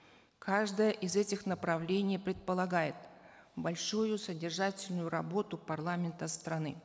каждое из этих направлений предполагает большую содержательную работу парламента страны